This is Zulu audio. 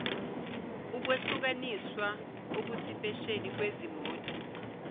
ukwehlukaniswa okusipesheli kwezimot